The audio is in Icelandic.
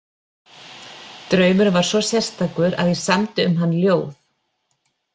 Draumurinn var svo sérstakur að ég samdi um hann ljóð